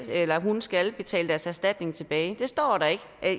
eller hun skal betale sin erstatning tilbage at det står der ikke